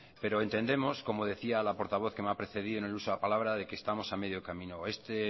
pero entendemos como decía la portavoz que me ha precedido en el uso de la palabra de que estamos a medio camino este